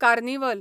carnival